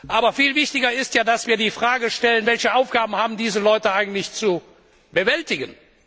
Aber viel wichtiger ist, dass wir die Frage stellen Welche Aufgaben haben diese Leute eigentlich zu bewältigen?